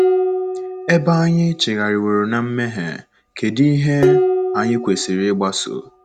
Ebe anyị chigharịworo ná mmehie, kedụ ihe anyị kwesịrị ịgbaso?